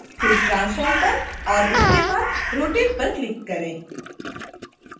फिर transform पर और उसके बाद rotate पर क्लिक करें